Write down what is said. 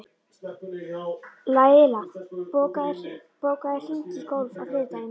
Laila, bókaðu hring í golf á þriðjudaginn.